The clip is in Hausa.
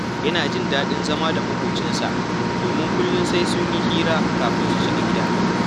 Yana jin daɗin zama da maƙocinsa, domin kullum sai sun yi ‘yar hira kafin su shiga gida